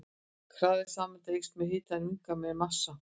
Hraði sameinda eykst með hita en minnkar með massa.